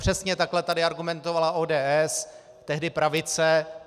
Přesně takhle tady argumentovala ODS, tehdy pravice.